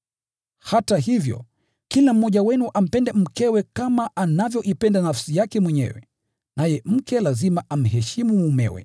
Hata hivyo, kila mmoja wenu ampende mkewe kama anavyoipenda nafsi yake mwenyewe, naye mke lazima amheshimu mumewe.